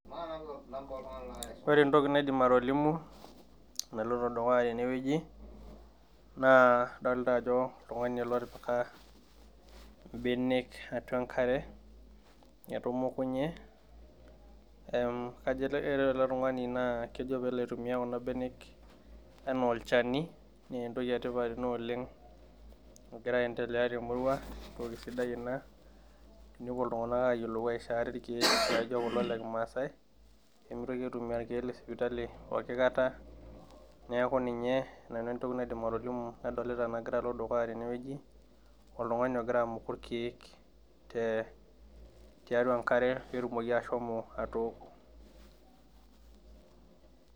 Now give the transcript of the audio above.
Ore entoki naidim atolimu naloito dukuya tewueji naa adolta ajo oltung'ani ele otipika imbenek atua enkare etumukunye ehm kajo ele ore ele tung'ani naa kejo peelo aitumia kuna benek enaa olchani nentoki etipat ina oleng nagira aendelea temurua entoki sidai ina tenepuo iltung'anak ayiolou aishoo ate irkeek laijio kulo le kimaasae nemitoki aitumia irkeek le sipitali poki kata neeku ninye nanu entoki naidim atolimu nadolita nagira alo dukuya teneweji oltung'ani ogira amuku irkeek te tiatua enkare petumoki ashomo atooko.